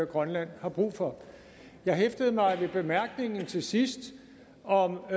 grønland har brug for jeg hæftede mig også ved bemærkningen til sidst om